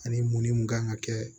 Ani mun ni mun kan ka kɛ